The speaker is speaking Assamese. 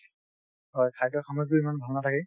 হয় খাদ্য সামগ্ৰীও ইমান ভাল নাথাকে ।